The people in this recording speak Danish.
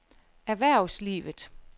erhvervslivet